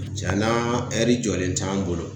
Cɛnan ɛri jɔlen t'an bolo